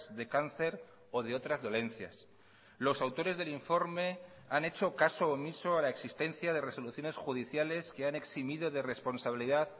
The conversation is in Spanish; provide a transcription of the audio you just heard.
de cáncer o de otras dolencias los autores del informe han hecho caso omiso a la existencia de resoluciones judiciales que han eximido de responsabilidad